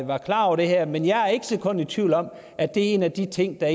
var klar over det her men jeg er ikke et sekund i tvivl om at det er en af de ting der